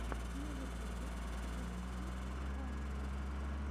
на ютубе заводи вайны